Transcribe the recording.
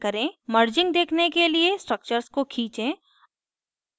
merging देखने के लिए structures को खींचें